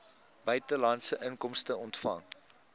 buitelandse inkomste ontvang